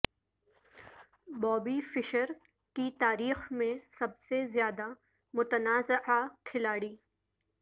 بابی Fischer کی تاریخ میں سب سے زیادہ متنازعہ کھلاڑی